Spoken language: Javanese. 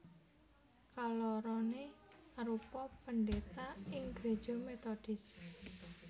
Kaloroné arupa pendhéta ing gréja metodis